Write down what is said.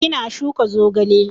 Ina shuka zogale